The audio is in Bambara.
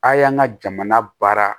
A y'an ka jamana baara